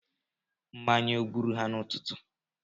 Mmanya ọ gburu ha n'ụtụtụ?